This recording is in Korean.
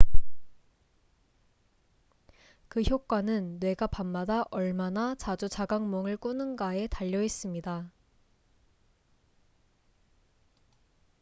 그 효과는 뇌가 밤마다 얼마나 자주 자각몽을 꾸는가에 달려 있습니다